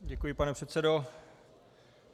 Děkuji, pane předsedo.